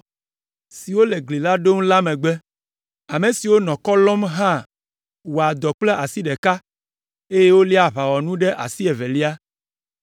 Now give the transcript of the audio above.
siwo le gli la ɖom la megbe. Ame siwo nɔ kɔ lɔm la hã wɔa dɔ kple asi ɖeka, eye woléa aʋawɔnu ɖe asi evelia.